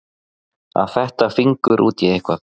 Að fetta fingur út í eitthvað